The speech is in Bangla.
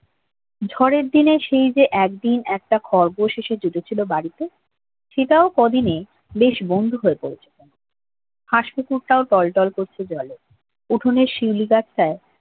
ঝড়ের দিনে সেই যে একদিন একটা খরগোশেষে জুটে ছিল বাড়িতে সেটাও ক'দিনে বেশ বন্দী হয়ে পড়েছে হাঁস পুকুরটাও টলটল করছে জলে উঠনের শিউলি গাছটাও